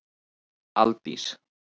Aldís